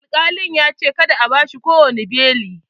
Akalin ya ce "Kada a bashi kowani bale"!.